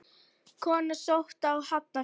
Kona sótt á Hafnarfjall